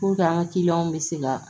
an ka kiliyanw bɛ se ka